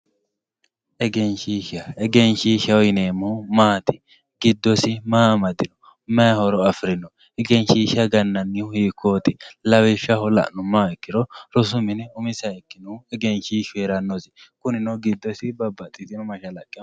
egenshiishsha egenshiishshaho yineemohu maati giddosi maa amadino mayi horo afirino egenshiishsha ganannihu hikkooti lawishshaho la'numoha ikkiro rosu mine umisiha ikkinohu egenshiishshu heerannosi kunino giddosi babbaxitiyoo mashalaqqe amadanno.